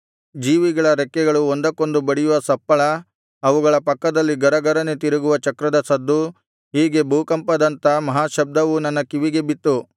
ಜೀವಿಗಳ ರೆಕ್ಕೆಗಳು ಒಂದಕ್ಕೊಂದು ಬಡಿಯುವ ಸಪ್ಪಳ ಅವುಗಳ ಪಕ್ಕದಲ್ಲಿ ಗರಗರನೆ ತಿರುಗುವ ಚಕ್ರಗಳ ಸದ್ದು ಹೀಗೆ ಭೂಕಂಪದಂಥ ಮಹಾಶಬ್ದವು ನನ್ನ ಕಿವಿಗೆ ಬಿತ್ತು